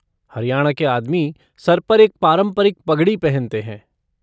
हरियाणा के आदमी सर पर एक पारंपरिक पगड़ी पहनते हैं।